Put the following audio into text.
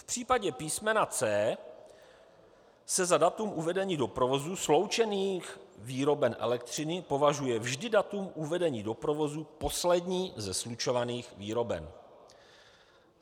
V případě písm. c) se za datum uvedení do provozu sloučených výroben elektřiny považuje vždy datum uvedení do provozu poslední ze slučovaných výroben.